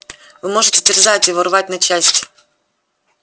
вы можете терзать его рвать на части